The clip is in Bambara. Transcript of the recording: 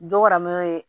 Dɔraman ye